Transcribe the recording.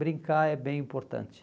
Brincar é bem importante.